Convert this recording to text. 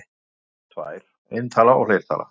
Tölur eru tvær: eintala og fleirtala.